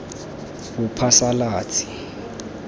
bophasalatsi